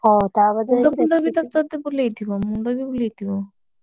ହଁ ତାପରେ ଯାଇ ମୁଣ୍ଡବି ବୁଲେଇଥିବ